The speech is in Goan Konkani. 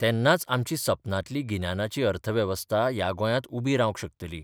तेन्नाच आमची सपनांतली गिन्यानाची अर्थवेवस्था ह्या गोंयांत उबी रावंक शकतली.